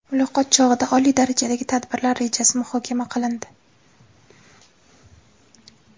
Muloqot chog‘ida oliy darajadagi tadbirlar rejasi muhokama qilindi.